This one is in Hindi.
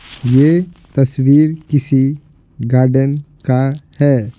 यह तस्वीर किसी गार्डन का है।